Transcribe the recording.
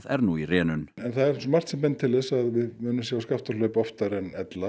er nú í rénun það er margt sem bendir til þess að við munum sjá Skaftárhlaup oftar en